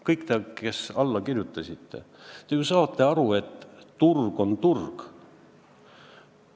Kõik, kes te eelnõule alla kirjutasite, ju saate aru, et turg on turg.